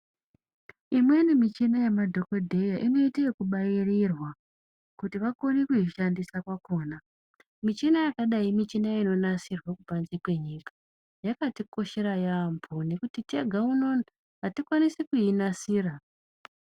Imweni michina yemadhokodheya inoite yekubairirwa kuti vakone kuishandisa kwakona. Michina yakadai michina inonasirwa kubanze kwenyika. Yakatikoshera yaambo nekuti tega uno uno, hatikwanisi kuinasira.